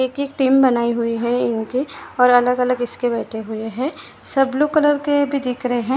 एक एक की टीम बनाई हुई है इनकी और अलग अलग खिसके बैठे हुए हैं सब ब्लू कलर के दिखे रहे हैं।